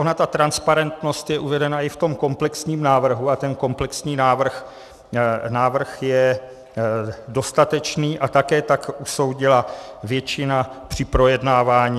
Ona ta transparentnost je uvedena i v tom komplexním návrhu a ten komplexní návrh je dostatečný a také tak usoudila většina při projednávání.